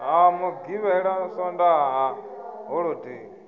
ha mugivhela swondaha na holodei